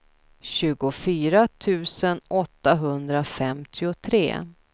tjugofyra tusen åttahundrafemtiotre